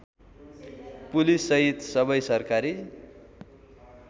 पुलिससहित सबै सरकारी